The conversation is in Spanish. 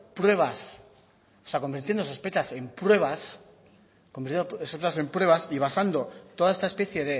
sospechas en pruebas y basando toda esta especie